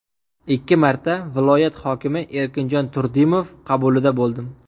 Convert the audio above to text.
Ikki marta viloyat hokimi Erkinjon Turdimov qabulida bo‘ldim.